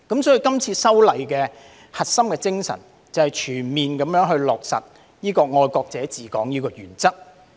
所以，今次修例的核心精神，就是全面落實"愛國者治港"的原則。